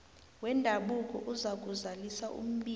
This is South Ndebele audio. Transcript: wendabuko uzakuzalisa umbiko